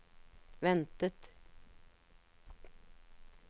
ventet